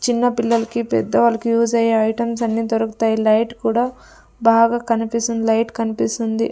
చిన్నపిల్లలకి పెద్ద వాళ్ళకి యూస్ అయ్యే ఐటమ్స్ అన్ని దొరుకుతాయి లైట్ కూడా బాగా కన్పిస్తుంది లైట్ కన్పిస్తుంది.